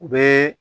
U bɛ